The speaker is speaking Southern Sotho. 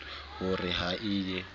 ho re ha e ye